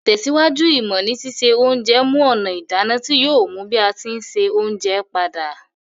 Ìtẹ̀síwájú ìmọ́ ni sise onje mu ònà ìdáná ti yio yi bi a ti n se ounje padà